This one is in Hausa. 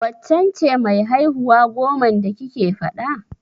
Waccen ce mai haihuwa goman da kike faɗa?